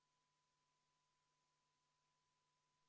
Ettepanekut toetas 63 Riigikogu liiget, vastu oli 18, erapooletuid ei olnud.